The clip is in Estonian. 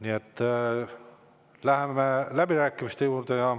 Nii et lähemegi läbirääkimiste juurde.